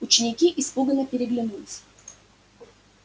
ученики испуганно переглянулись